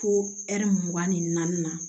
Fo ɛri mugan ni naani na